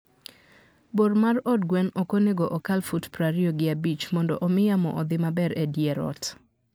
Bor mar od gwen ok onego okal fut prariyo gi abich mondo omi yamo odhi maber e dier ot.